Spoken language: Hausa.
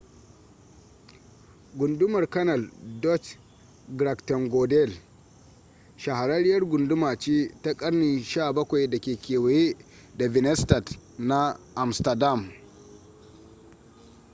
gundumar canal dutch: grachtengordel shahararriyar gunduma ce ta ƙarnin 17 da ke kewaye da binnenstad na amsterdam